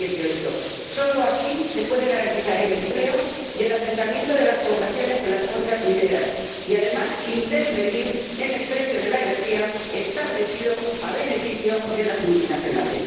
2018. Solo así se puede garantizar el empleo y el asentamiento de las poblaciones en las cuencas mineras y, además, intervenir en el precio de la energía establecido a beneficio de las multinacionales.